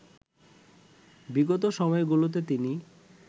বিগত সময়গুলোতে তিনি